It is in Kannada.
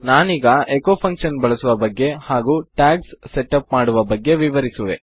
ನಾನೀಗ ಎಚೊ ಫಂಕ್ಷನ್ ಬಳಸುವ ಬಗೆ ಹಾಗು ಟ್ಯಾಗ್ಸ್ ಸೆಟ್ ಅಪ್ ಮಾಡುವ ಬಗ್ಗೆ ವಿವರಿಸುವೆ